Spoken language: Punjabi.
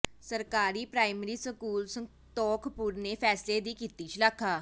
ਸਰਕਾਰੀ ਪ੍ਰਾਇਮਰੀ ਸਕੂਲ ਸੰਤੋਖਪੁਰ ਨੇ ਫੈਸਲੇ ਦੀ ਕੀਤੀ ਸ਼ਲਾਘਾ